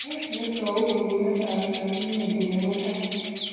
Nee netau bekunetab plasminogen nebo tai